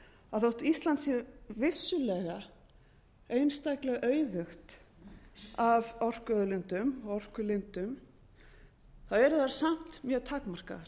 að þótt ísland sé vissulega einstaklega auðugt af orkuauðlindum og orkulindum eru þær samt mjög takmarkaðar